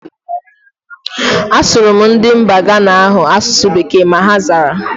A sụrụ m ndị mba Ghana ahu asụsụ bekee, ma ha zara